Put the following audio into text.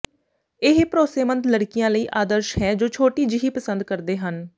ਇਹ ਭਰੋਸੇਮੰਦ ਲੜਕੀਆਂ ਲਈ ਆਦਰਸ਼ ਹੈ ਜੋ ਛੋਟੀ ਜਿਹੀ ਪਸੰਦ ਕਰਦੇ ਹਨ